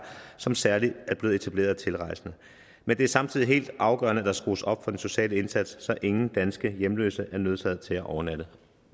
som særlig er blevet etableret af tilrejsende men det er samtidig helt afgørende at der skrues op for den sociale indsats så ingen danske hjemløse er nødsaget til at overnatte